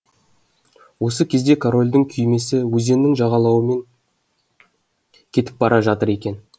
осы кезде корольдің күймесі өзеннің жағалауымен кетіп бара жатыр екен